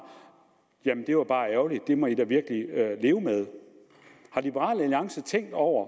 jamen det var bare ærgerligt det må i da virkelig leve med har liberal alliance tænkt over